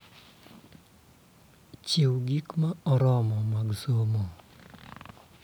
Chiw gik ma oromo mag somo,